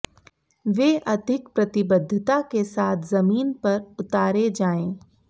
वे अधिक प्रतिबद्धता के साथ ज़मीन पर उतारे जाएं